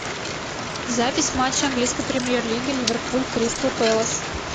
запись матча английской премьер лиги ливерпуль кристал пэлас